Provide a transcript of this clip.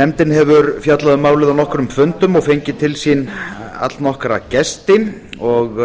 nefndin hefur fjallað um málið á nokkrum fundum og fengið til sín allnokkra gesti og